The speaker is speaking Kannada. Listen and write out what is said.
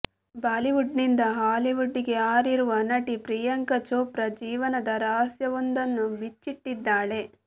ಬಾಲಿವುಡ್ ನಿಂದ ಹಾಲಿವುಡ್ ಗೆ ಹಾರಿರುವ ನಟಿ ಪ್ರಿಯಾಂಕ ಚೋಪ್ರಾ ಜೀವನದ ರಹಸ್ಯವೊಂದನ್ನು ಬಿಚ್ಚಿಟ್ಟಿದ್ದಾಳೆ